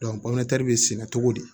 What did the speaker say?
bɛ sɛnɛ cogo di